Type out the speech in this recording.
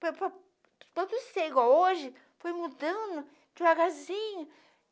Para para para todos ser igual hoje, foi mudando devagarzinho.